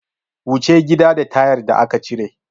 Wuce gida da tayar da aka cire!